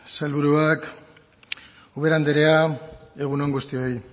sailburuak ubera andrea egun on guztioi